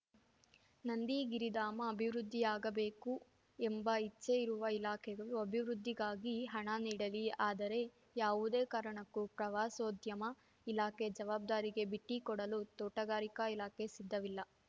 ನಂದಿಗಿರಿಧಾಮ ಅಭಿವೃದ್ಧಿಯಾಗಬೇಕು ಎಂಬ ಇಚ್ಛೆ ಇರುವ ಇಲಾಖೆಗಳು ಅಭಿವೃದ್ಧಿಗಾಗಿ ಹಣ ನೀಡಲಿ ಆದರೆ ಯಾವುದೇ ಕಾರಣಕ್ಕೂ ಪ್ರವಾಸೋದ್ಯಮ ಇಲಾಖೆ ಜವಾಬ್ದಾರಿಗೆ ಬಿಟ್ಟಿಕೊಡಲು ತೋಟಗಾರಿಕಾ ಇಲಾಖೆ ಸಿದ್ಧವಿಲ್ಲ